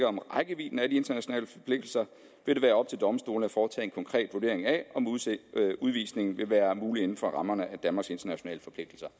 om rækkevidden af de internationale forpligtelser vil det være op til domstolene at foretage en konkret vurdering af om udvisningen vil være mulig inden for rammerne af danmarks internationale forpligtelser